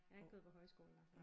Jeg har ikke gået på højskole der